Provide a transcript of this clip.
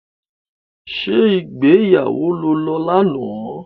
Ṣé ìgbéyàwó lo lọ lánàá?